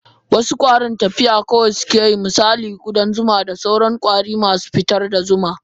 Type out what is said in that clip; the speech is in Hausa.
Wasu kwarin tafiya kawai suke yi misali kudan zuma da sauran kwari masu fitar da zuma.